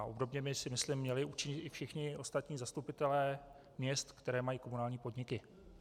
A obdobně by, si myslím, měli učinit i všichni ostatní zastupitelé měst, které mají komunální podniky.